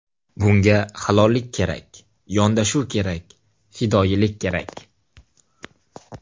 Bunga halollik kerak, yondashuv kerak, fidoyilik kerak.